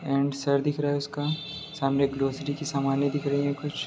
and sir दिख रहा है उसका सामने ग्रॉसरी की समानें दिख रही हैं कुछ --